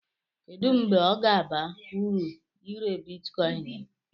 Kedu mgbe ọ ga-aba uru ire Bitikoin m?